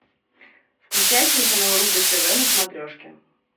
включай телеканал рубль тв на смотрешке